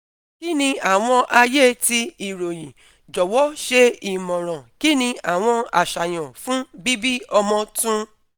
Kí ni àwọn ayé ti ìròyìn? Jọ̀wọ́ ṣe ìmọ̀ràn kí ni àwọn àṣàyàn fún bíbí ọmọ tun